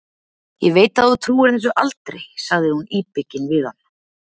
Ég veit að þú trúir þessu aldrei, sagði hún íbyggin við hann.